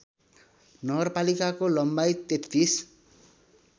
नगरपालिकाको लम्बाइ ३३